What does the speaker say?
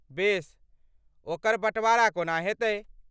बेस, ओकर बँटवारा कोना हेतै?